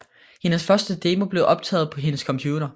Hendes første demo blev optaget på hendes computer